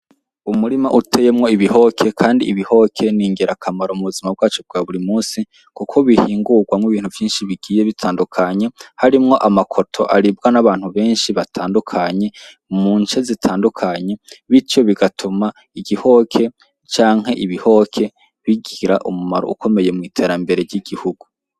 Umurima uteyemwo ibihoke, kandi ibihoke ni ngera akamaro mu buzima bwacu bwa buri musi, kuko bihingurwamwo ibintu vyinshi bigiye bitandukanye harimwo amakoto aribwa n'abantu benshi batandukanye mu nce zitandukanye bityo bigatuma igihoke canke ibihoke bigira umumaro ukomeyewo mwitarambere ry'igihugu.